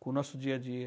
com o nosso dia a dia.